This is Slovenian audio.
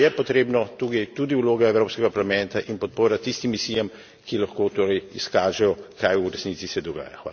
Zato je potrebna tukaj tudi vloga Evropskega parlamenta in podpora tistim misijam, ki lahko torej izkažejo, kaj v resnici se dogaja.